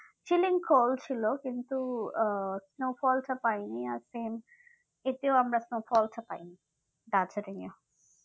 feeling cold ছিল কিন্তু আহ snowfall টা পাইনি এতেও আমরা snowfalls তা পাইনি দার্জিলিংএ